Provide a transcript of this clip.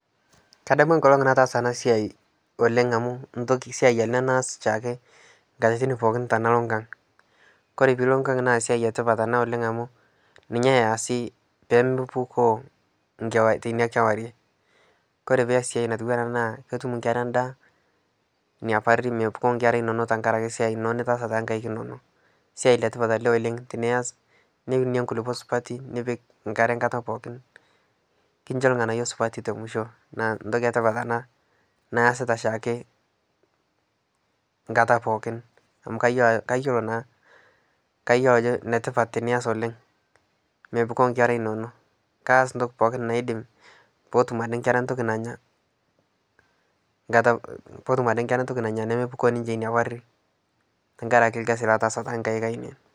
Kadamu nkolong' nataasa anaa siai oleng' amuu siai anaa naas shaake nkatitin pookin tanaloo nkang' kore piloo nkang' naa siai etipat anaa amuu ninyee easii pemepukoo teinia kuarie kore pias siai natuwanaa anaa naa kotum nkeraa ndaa inia parii mepukoo nkeraa inonoo tankarakee siai nitaasa tankaik inonoo siai letipat alee oleng' tiniaz niunie nkulipoo supatii nipik nkaree nkataa pookin kinshoo lganayoo supatii temushoo naa ntokii etipat anaa naasitaa shaake nkataa pookin amuu kayoloo naa kayolo ajo netipat tiniaz oleng' mepukoo nkeraa inonoo kaaz ntoki pookin naidim pootum adee nkeraa ntokii nanyaa nkataa pootum adee nkeraa ntoki nanyaa nomopukoo ade ninshee inia parii tankarakee lkazii lataasa tankaik ainen.